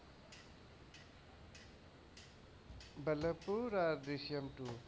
বল্লভপুর আর দৃশম two,